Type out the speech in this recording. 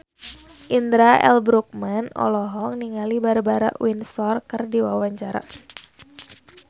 Indra L. Bruggman olohok ningali Barbara Windsor keur diwawancara